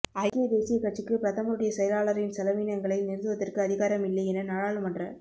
ஐக்கிய தேசிய கட்சிக்கு பிரதமருடைய செயலாளரின் செலவீனங்களை நிறுத்துவதற்கு அதிகாரம் இல்லை என நாடாளுமன்ற